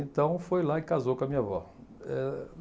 Então, foi lá e casou com a minha avó. Eh